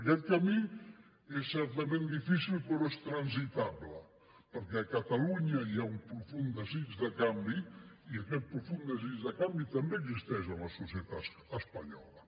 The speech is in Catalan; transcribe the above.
aquest camí és certament difícil però és transitable perquè a catalunya hi ha un profund desig de canvi i aquest profund desig de canvi també existeix en la societat espanyola